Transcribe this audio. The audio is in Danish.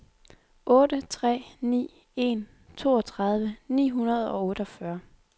otte tre ni en toogtredive ni hundrede og otteogfyrre